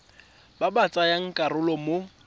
ba ba tsayang karolo mo